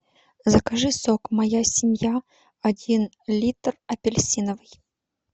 закажи сок моя семья один литр апельсиновый